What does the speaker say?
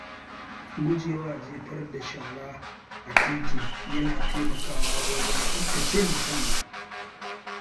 Gujewa jefar da shara a titi yana taimakawa wajen tsaftace muhalli.